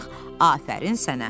afərin sənə.